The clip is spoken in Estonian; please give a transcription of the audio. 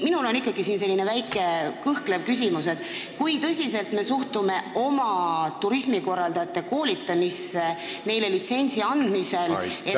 Mul on ikkagi selline väike kõhklev küsimus, et kui tõsiselt me suhtume oma turismikorraldajate koolitamisse neile litsentsi andmisel.